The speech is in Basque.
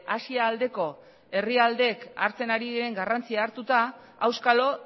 asia aldeko herrialdeek hartzen ari diren garrantzia hartuta auskalo